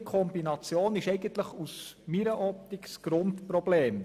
Diese Kombination ist aus meiner Optik das Grundproblem.